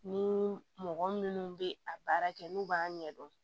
Ni mɔgɔ minnu bɛ a baara kɛ n'u b'a ɲɛdɔn